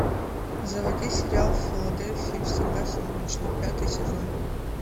заводи сериал в филадельфии всегда солнечно пятый сезон